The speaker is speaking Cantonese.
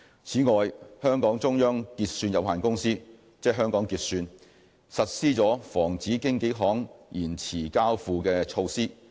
此外，香港中央結算有限公司實施了防止經紀行延遲交付的措施。